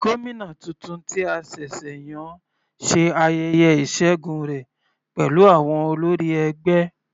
Gómìnà titun tí a ṣẹ̀ṣẹ̀ yàn ṣe ayẹyẹ ìṣẹgun rẹ̀ pẹ̀lú àwọn olórí ẹgbẹ́.